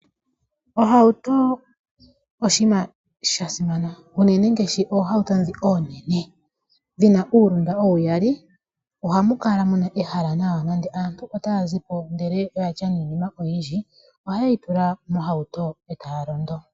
Ohauto oshinima sha simana unene ngaashi oohato ndhi oonene dhi na uulunda uyali oha mu kala mu na ehala nawa ngele aantu ota ya zipo ndele oya tya niinima oyindji oha ye yi tula mohauto e taya londo.